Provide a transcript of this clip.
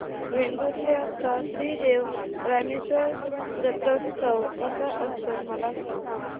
वेंगुर्ल्या चा श्री देव रामेश्वर जत्रौत्सव कसा असतो मला सांग